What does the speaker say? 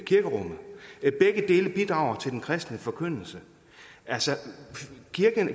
dele bidrager til den kristne forkyndelse altså